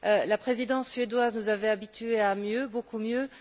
La Présidence suédoise nous avait habitués à mieux, beaucoup mieux.